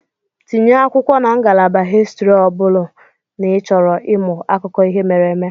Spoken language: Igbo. Tinye akwụkwọ na ngalaba histri ọ bụrụ n'ịchọrọ ịmụ akụkọ ihe mere eme.